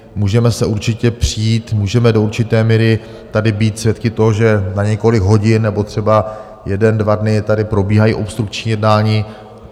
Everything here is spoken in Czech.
Můžeme se určitě přít, můžeme do určité míry tady být svědky toho, že na několik hodin nebo třeba jeden dva dny tady probíhají obstrukční jednání.